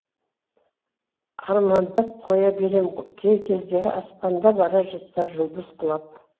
армандап қоя берем кей кездері аспанда бара жатса жұлдыз құлап